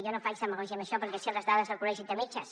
jo no faig demagògia amb això perquè sé les dades del col·legi de metges